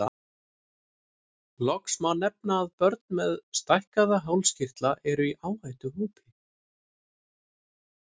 Loks má nefna að börn með stækkaða hálskirtla eru í áhættuhópi.